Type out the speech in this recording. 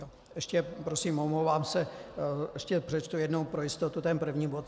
Ještě, prosím, omlouvám se, ještě přečtu jednou pro jistotu ten první bod.